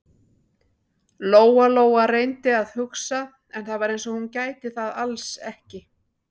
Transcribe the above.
Lóa-Lóa reyndi að hugsa, en það var eins og hún gæti það alls ekki.